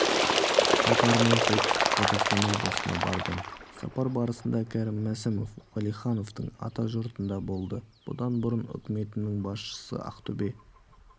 сапарымен солтүстік қазақстаноблысына барды сапар барысындакәрім мәсімовш уәлихановтың атажұртында болды бұдан бұрын үкіметінің басшысы ақтөбе